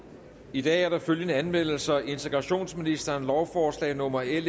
i dag er der følgende anmeldelser integrationsministeren lovforslag nummer l